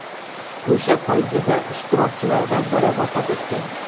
O‘sha poygada ishtirokchilardan biri vafot etgan.